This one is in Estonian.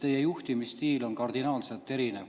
Teie juhtimisstiil on kardinaalselt erinev.